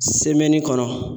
kɔnɔ